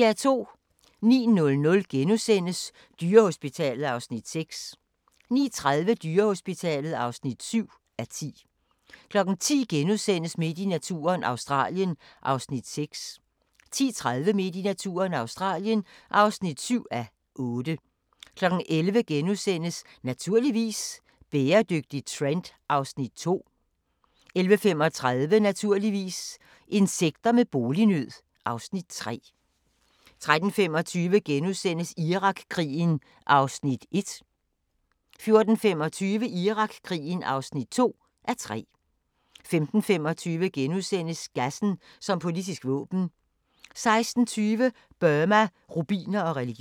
09:00: Dyrehospitalet (6:10)* 09:30: Dyrehospitalet (7:10) 10:00: Midt i naturen – Australien (6:8)* 10:30: Midt i naturen – Australien (7:8) 11:00: Naturligvis - bæredygtig trend (Afs. 2)* 11:35: Naturligvis - insekter med bolignød (Afs. 3) 13:25: Irakkrigen (1:3)* 14:25: Irakkrigen (2:3) 15:25: Gassen som politisk våben * 16:20: Burma, rubiner og religion